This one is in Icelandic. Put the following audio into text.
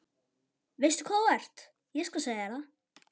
Veistu hvað þú ert, ég skal segja þér það.